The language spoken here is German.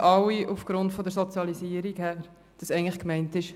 », wissen alle aufgrund der Sozialisierung, dass eigentlich gemeint ist: